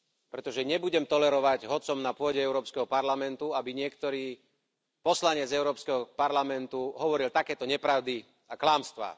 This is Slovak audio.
Pretože nebudem tolerovať, hoci som na pôde Európskeho parlamentu, aby niektorý poslanec Európskeho parlamentu hovoril takéto nepravdy a klamstvá.